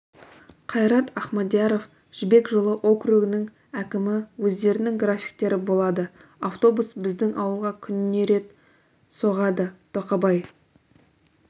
қайрат ахмадияров жібек жолы округінің әкімі өздерінің графиктері болады автобус біздің ауылға күніне рет соғады тоқабай